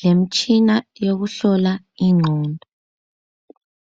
lemtshina yokuhlola ingqondo.